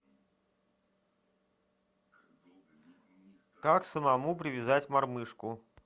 как самому привязать мормышку